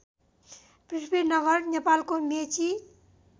पृथ्वीनगर नेपालको मेची